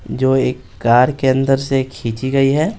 जो एक कार के अंदर से खींची गई है।